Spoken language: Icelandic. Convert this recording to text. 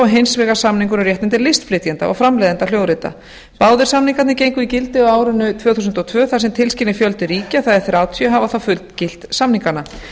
hins vegar samningur um réttindi listflytjenda og framleiðenda hljóðrita báðir samningarnir gengu í gildi á árinu tvö þúsund og tvö þar sem tilskilinn fjöldi ríkja það er þrjátíu hafa þá fullgilt samningana